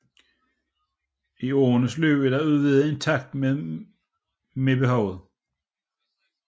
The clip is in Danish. I årenes løb er dette udvidet i takt med behovet